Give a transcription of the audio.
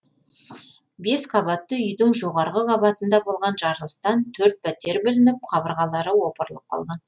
бес қабатты үйдің жоғарғы қабатында болған жарылыстан төрт пәтер бүлініп қабырғалары опырылып қалған